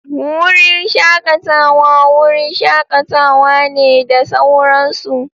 Wurin shakatawa wurin shakatawa ne da sauran su.